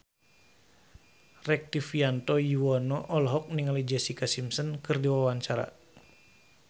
Rektivianto Yoewono olohok ningali Jessica Simpson keur diwawancara